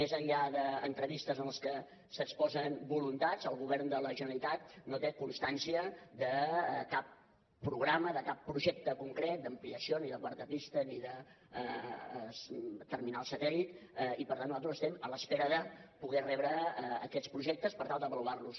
més enllà d’entrevistes en les que s’exposen voluntats el govern de la generalitat no té constància de cap programa de cap projecte concret d’ampliació ni de quarta pista ni de terminal satèl·lit i per tant nosaltres estem en espera de poder rebre aquestes projectes per tal d’ava luar los